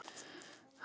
Borðið lesið.